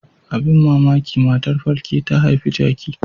Abin mamaki matar falke ta haifi jaki.